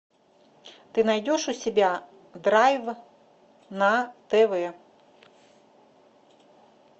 ты найдешь у себя драйв на тв